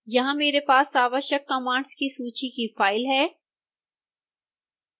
यहां मेरे पास आवश्यक कमांड्स की सूची की फाइल है